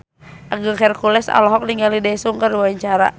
Agung Hercules olohok ningali Daesung keur diwawancara